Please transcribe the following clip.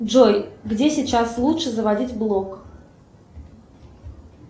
джой где сейчас лучше заводить блог